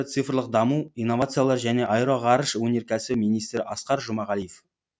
цифрлық даму инновациялар және аэроғарыш өнеркәсібі министрі асқар жұмағалиев